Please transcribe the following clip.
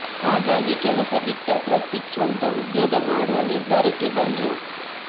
ಹಾಗಾಗಿ ಕೆಲಸ ಬಿಟ್ಟ ಪ್ರತೀಕ್ ಸ್ವಂತ ಉದ್ಯೋಗ ಮಾಡುವ ನಿರ್ಧಾರಕ್ಕೆ ಬಂದ್ರು